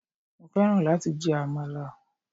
Mo fẹ́ran láti jẹ àmàlà.